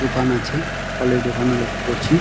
দোকান আছে ফলের দোকান করছি।